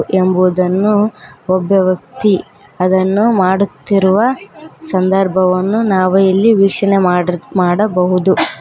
ಎಂಬುವುದನ್ನು ಒಬ್ಬ ವ್ಯಕ್ತಿ ಅದನ್ನು ಮಾಡುತ್ತಿರುವ ಸಂದರ್ಭವನ್ನು ನಾವು ಇಲ್ಲಿ ವೀಷಣೆ ಮಾಡಿರ್- ಮಾಡಬಹುದು.